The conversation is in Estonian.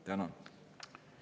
Tänan!